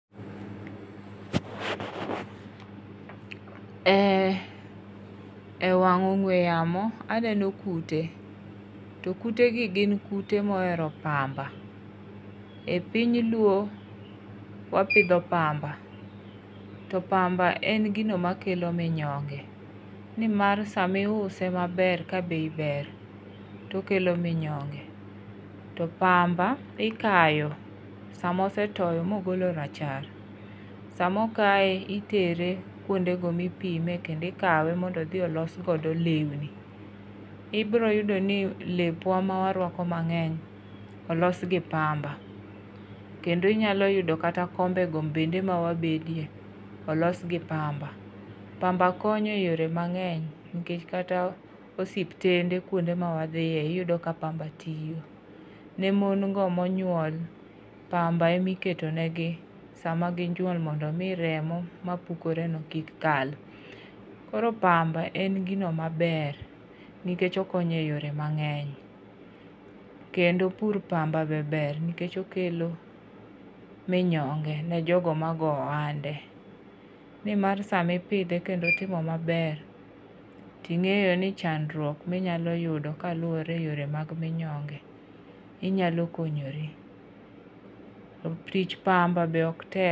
Ee e wang ong'we yamo, aneno kute. To kute gi gin kute ma ohero pamba. E piny luo wapidho pamba. To pamba en gino makelo minyonge. Ni mar sama iuso maber, ka bei ber, to okelo minyonge. To pamba ikayo sama osetoyo mogolo rachar. Sama okye itere kwonde go ma ipime, kendo ikawe mondo odhi olos godo lewni. Ibiro yudo ni lepwa mawarwako mang'eny olos gi pamba. Kendo inyalo yudo ni kata kombe go bende mawabedie, olos gi pamba. Pamba konyo e yore mang'eny, nikech kata osiptende kwonde ma wadhie iyudo ka pamba tiyo. Ne mon go manyuol pamba ema iketo negi sama ginyuol mondo omi remo mapuokore no kik kal. Koro pamba en gino maber, nikech okonyo e yore mangeny. Kendo pur pamba be ber nikech okelo minyonge ne jogo ma goyo ohande. Ni mar sama ipidhe kendo otimo maber, to ing'eyo ni chandruok ma inyalo yudo ka luwore e yore mag minyonge, inyalo konyori. To tich pamba be ok tek.